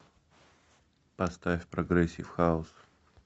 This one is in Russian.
поставь прогрессив хаус